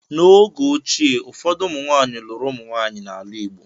N’oge ochie, ụfọdụ ụmụnwaanyị lụrụ ụmụnwaanyị n’ala Igbo.